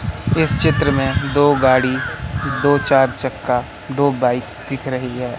इस चित्र में दो गाड़ी दो चार चक्का दो बाइक दिख रही है।